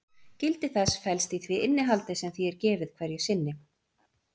Gildi þess felst í því innihaldi sem því er gefið hverju sinni.